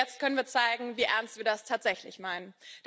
Und jetzt können wir zeigen, wie ernst wir das tatsächlich meinen.